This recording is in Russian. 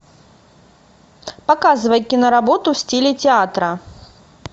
показывай киноработу в стиле театра